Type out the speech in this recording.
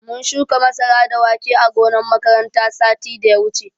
Mun shuka masara da wake ã gonan makaranta satin da ya wuche.